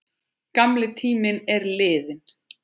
Gamli tíminn er liðinn.